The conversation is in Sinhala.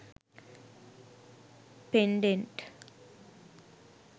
pendent